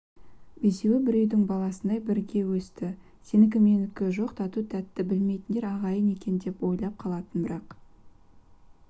бесеуі бір үйдің баласындай бірге өсті сенікі-менікі жоқ тату-тәтті білмейтіндер ағайынды екен деп ойлап қалатын бірақ